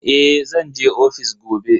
Eh, zan je ofis gobe.